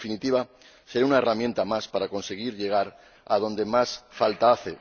En definitiva, será una herramienta más para conseguir llegar a donde más falta hace.